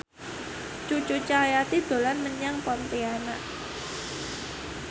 Cucu Cahyati dolan menyang Pontianak